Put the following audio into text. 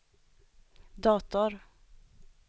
dator